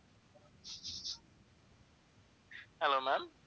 hello ma'am